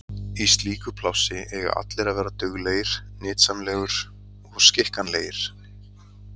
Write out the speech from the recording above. Í slíku plássi eiga allir að vera duglegir, nytsamlegur og skikkanlegir.